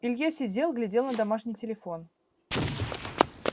илья сидел глядел на домашний телефон